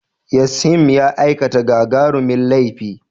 Yashim ya aikata gagarumin laifi.